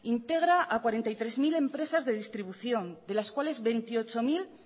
integra a cuarenta y tres mil empresas de distribución de las cuales veintiocho mil